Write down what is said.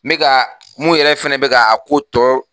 Me ka mun yɛrɛ fɛnɛ bɛka a ko tɔ